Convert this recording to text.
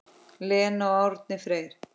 Lena og Árni Freyr.